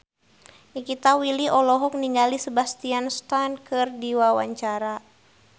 Nikita Willy olohok ningali Sebastian Stan keur diwawancara